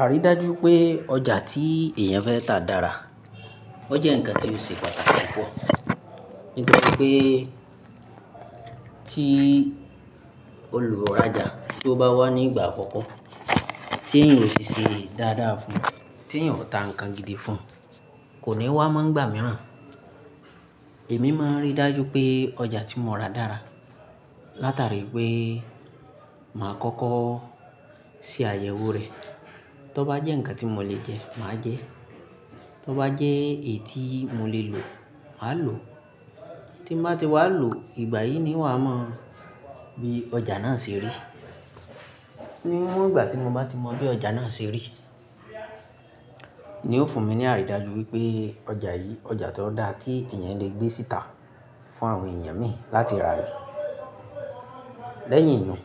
Àrídájú pé ọjà tí èèyàn fẹ́ tà dára. O jẹ́ ǹkan tí ó ṣe pàtàkì púpọ̀, nítorí pé tí olùrajà tó bá wá ní ìgbà àkọ́kọ́, tí èèyàn ò ṣi sé dáadáa fún, tí èèyàn ò ta ǹkan gidi fún, kò ní wá mọ́ ngbà mìíràn. Èmi máa n rí dájú pé ọjà tí mo ra dára, látàrí pé màá kọ́kọ́ ṣe àyẹ̀wò rẹ̀. Tó bá jẹ́ ǹkan tí mò lè jẹ, màá jẹ ẹ́. Tó bá jẹ́ ètì mò lè lò, màá lò ó. Tí mò bá ti wá lò, ìgbà yìí ni n wàá mọ bí ọjà náà ṣe rí. Níwọ̀n ìgbà tí mo bá ti mọ bí ọjà náà ṣe rí, ni ó fún mi ní àrídájú wípé ọjà yìí, ọjà tó dára tí èèyàn lè gbé síta fún àwọn èèyàn mi láti rà ní. Lẹ́yìn iyùn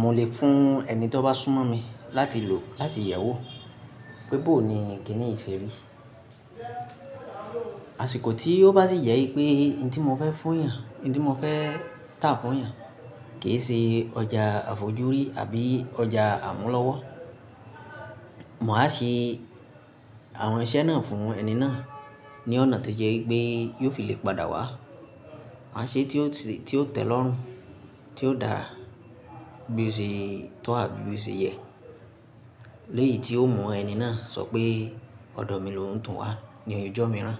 mò lè fún ẹni tó bá súnmọ́ mi láti lò, láti yẹ̀wò pébọ̀ ni kíní yí ṣe rí. Àsìkò tí ó bá sì jẹ wípé ohun tí mò fẹ́ fún èèyàn, ohun tí mò fẹ́ tà fún èèyàn kìí ṣe ọjà àfojúrí àbí ọjà àmúlọ́wọ́, màá ṣe àwọn iṣẹ́ náà fún ẹni náà ní ọ̀nà tó jẹ́ wípé yóò fi lè padà wá. Màá ṣe é tí ó tẹ̀ lọ́rùn, tí ó dára bí ó ṣe tọ́ àbí bí ó ṣe yẹ. Lẹ́yì tí ó mú ẹni náà sọ pé ọ̀dọ̀ mi lò ń tún wá ní oyè ọjọ́ mìíràn.